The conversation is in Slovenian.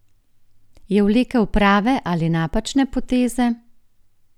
Je vlekel prave ali napačne poteze?